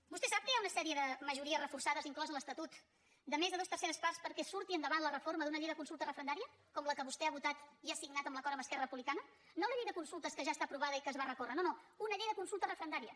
vostè sap que hi ha una sèrie de majories reforçades inclosa a l’estatut de més de dues terceres parts perquè surti endavant la reforma d’una llei de consultes referendària com la que vostè ha votat i ha signat en l’acord amb esquerra republicana no la llei de consultes que ja està aprovada i que es va recórrer no no una llei de consultes referendària